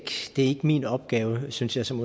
min opgave synes jeg som